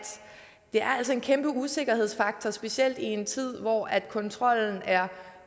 det altså er en kæmpe usikkerhedsfaktor specielt i en tid hvor kontrollen er